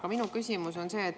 Aga minu küsimus on see.